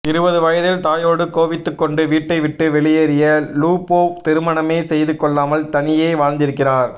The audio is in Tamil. இருபது வயதில் தாயோடு கோவித்துக் கொண்டு வீட்டைவிட்டுவெளியேறிய லூபோவ் திருமணமே செய்து கொள்ளாமல் தனியே வாழ்ந்திருக்கிறார்